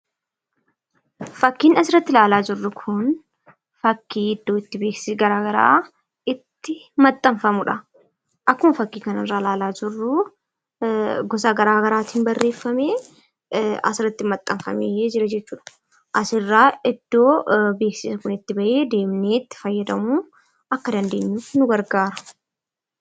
Fakkiin asirratti ilaalaa jirru kun fakkii iddoo itti beeksisi garaa garaa itti maxxanfamudha. Akkuma fakkii kanarraa ilaalaa jirru gosa garaa garaatiin barreeffamee asirratti maxxanfamee jira jechuudha. Asirraa iddoo beeksisni kun itti ba'ee, deemnee itti fayyadamuu akka dandeenyuuf nu gargaara.